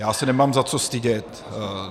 Já se nemám za co stydět.